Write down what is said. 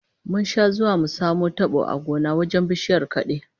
Mun sha zuwa mu samo tabo a gona wajen bishiyar kade